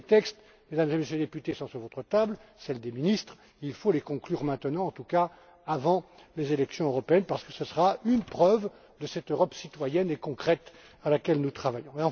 Mesdames et Messieurs les députés, tous ces textes sont sur votre table et sur celle des ministres. Il faut les conclure maintenant, en tout cas avant les élections européennes, parce que ce sera une preuve de cette Europe citoyenne et concrète à laquelle nous travaillons.